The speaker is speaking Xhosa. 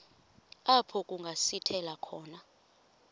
apho kungasithela khona